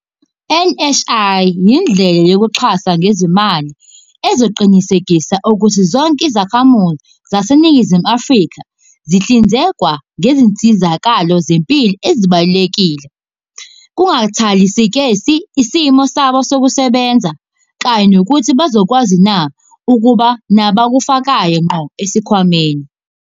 I-NHI yindlela yokuxhasa ngezimali ezoqinisekisa ukuthi zonke izakhamuzi zaseNingizimu Afrika zihlinzekwa ngezinsizakalo zempilo ezibalulekile, kungakhathaliseki isimo sabo sokusebenza kanye nokuthi bazokwazina ukuba nabakufakayo ngqo esikhwameni.